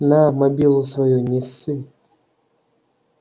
на мобилу свою не ссы